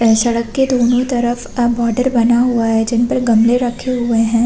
अ सड़क के दोनों तरफ अ बोर्डेर बना हुआ है जिन पर गमले रखे हुए है।